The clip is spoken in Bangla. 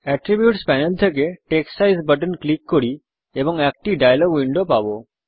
অ্যাট্রিবিউটস প্যানেল থেকে টেক্সট সাইজ বাটন ক্লিক করি এবং একটি ডায়লগ উইন্ডো পাবো